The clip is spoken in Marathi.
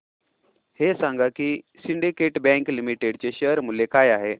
हे सांगा की सिंडीकेट बँक लिमिटेड चे शेअर मूल्य काय आहे